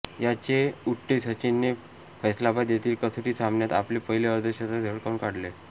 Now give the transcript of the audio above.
याचे उट्टे सचिनने फैसलाबाद येथील कसोटी सामन्यात आपले पहिले अर्धशतक झळकावून काढले